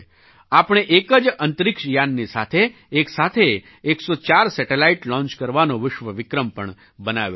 આપણે એક જ અંતરિક્ષ યાનની સાથે એક સાથે 104 સેટેલાઇટ લૉન્ચ કરવાનો વિશ્વ વિક્રમ પણ બનાવ્યો છે